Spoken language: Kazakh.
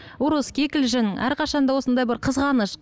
ұрыс кикілжің әрқашан да осындай бір қызғаныш